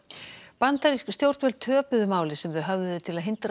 bandarísk stjórnvöld töpuðu máli sem þau höfðuðu til að hindra